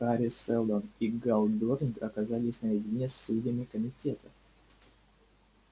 хари сэлдон и гаал дорник оказались наедине с судьями комитета